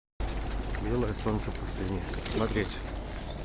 белое солнце пустыни смотреть